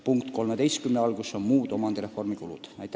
Punktis 13 on märgitud muid omandireformi kulusid.